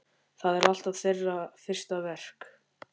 Það er alltaf þeirra fyrsta verk.